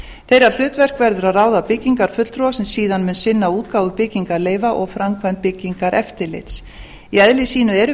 þeirra hlutverk verður að ráða byggingarfulltrúa sem síðan mun sinna útgáfu byggingarleyfa og framkvæmd byggingareftirlits í eðli sínu eru